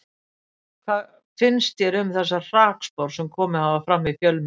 Hvað finnst þér um þessar hrakspár sem komið hafa fram í fjölmiðlum?